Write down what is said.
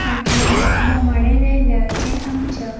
फाटल्यान बोमाडे लायल्या जे आमच्या --